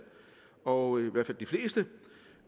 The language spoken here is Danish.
og